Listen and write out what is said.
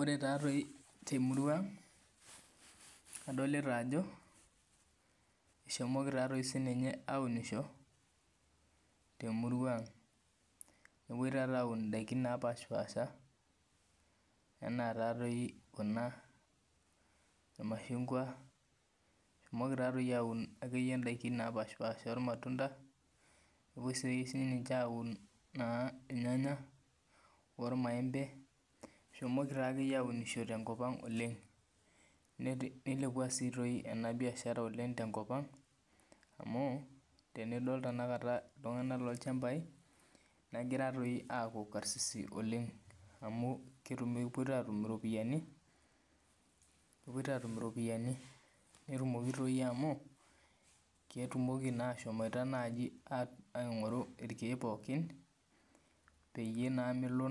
Ore taadoi temurua ang adolita Ajo eshomoki sininye aunisho temurua ang nepuoi taata aun edaiki napashipasha ena doi Kuna irmashungwa ehomoiki taadoi aun akeyie edaiki napashipasha ormatunda nepuoi sininche aun irnganya oo irmaembe eishoki akeyie aunisho tenkop oleng nilepuo sii doi ena biashara oleng tenkop ang amu tenidol iltung'ana loo ilchambai negira doi aku karsisi oleng amu kepuo taata atum eropiani netumoki doi amu ketumoki naa ashom aing'oru irkeek pookin peyie naa melo